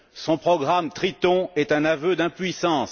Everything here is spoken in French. Son programme Triton est un aveu d'impuissance.